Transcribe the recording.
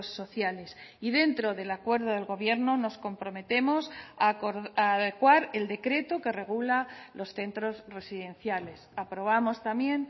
sociales y dentro del acuerdo del gobierno nos comprometemos a adecuar el decreto que regula los centros residenciales aprobamos también